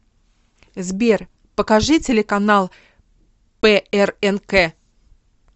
сбер покажи телеканал прнк